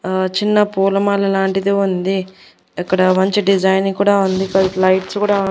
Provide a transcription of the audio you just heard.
ఆ చిన్న పూలమాల లాంటిది ఉంది అక్కడ మంచి డిజైన్ కూడా ఉంది దానికి లైట్స్ కూడా--